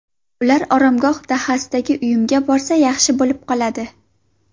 Ular Oromgoh dahasidagi uyimga borsa, yaxshi bo‘lib qoladi.